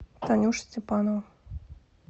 танюша степанова